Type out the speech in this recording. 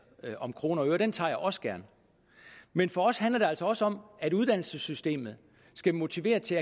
om kroner og øre men den tager jeg også gerne men for os handler det altså også om at uddannelsessystemet skal motivere til